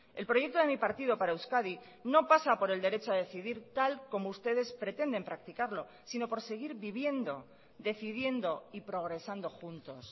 el proyecto de mi partido para euskadi no pasa por el derecho a decidir tal como ustedes pretenden practicarlo sino por seguir viviendo decidiendo y progresando juntos